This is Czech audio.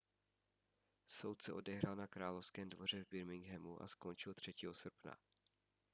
soud se odehrál na královském dvoře v birminghamu a skončil 3. srpna